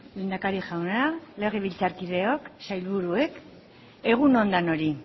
lehendakari jauna legebiltzarkideok sailburuok egun on denoi